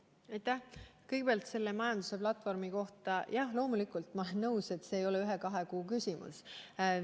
Kõigepealt märgin majanduse platvormi kohta, et jah, loomulikult, ma olen nõus, see ei ole ühe-kahe kuu küsimus.